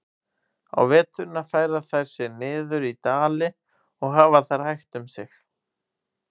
Á veturna færa þær sig niður í dali og hafa þar hægt um sig.